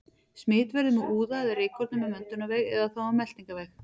Smit verður með úða eða rykkornum um öndunarveg eða þá um meltingarveg.